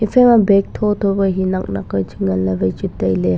efai ma bag chong chong ke hi nak nak pechu ngan ley lewai tailey.